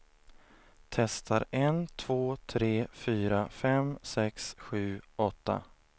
Testar en två tre fyra fem sex sju åtta.